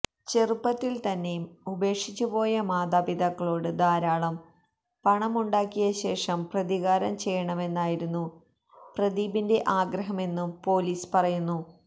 ചെറുപ്പത്തിൽ തന്നെ ഉപേക്ഷിച്ചുപോയ മാതാപിതാക്കളോട് ധാരാളം പണമുണ്ടാക്കിയശേഷം പ്രതികാരം ചെയ്യണമെന്നായിരുന്നു പ്രദീപിന്റെ ആഗ്രഹമെന്നും പൊലീസ് പറയുന്നു